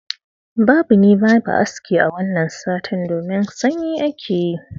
Babu ni babu aski a wanna satin, domin sanyi ake yi.